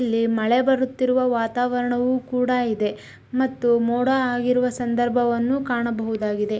ಇಲ್ಲಿ ಮಳೆ ಬರುತ್ತಿರುವ ವಾತಾವರಣವು ಕೂಡ ಇದೆ ಮತ್ತು ಮೋಡ ಆಗಿರುವ ಸಂದರ್ಭವನ್ನು ಕಾಣಬಹುದಾಗಿದೆ .